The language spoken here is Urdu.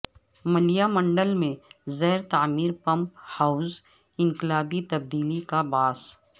ملیال منڈل میں زیر تعمیر پمپ ہاوز انقلابی تبدیلی کا باعث